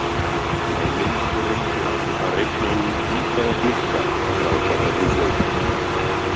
Á leiðinni reyndi hann að reikna út í hvaða glugga krákan hefði flogið.